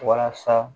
Walasa